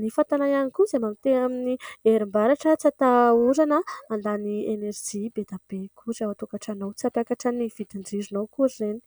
ny fatana ihany koa izay mandeha amin'ny herinaratra tsy atahorana handany enerijia be dia be akory ao an- tokatranonao. Tsy hampiakatra ny vidin- jironao akory ireny.